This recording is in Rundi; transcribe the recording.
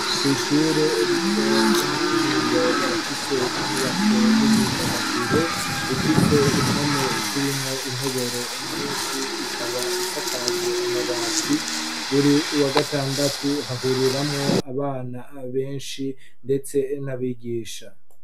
Kw'ishure rito ryo mu kinindo barafise inyubako y'imyidagaduro, ifise impome z'irimwo intoboro nyinshi, ikaba isakaje amabati, buri wa gatandatu hahuriramwo abana benshi ndetse n'abigisha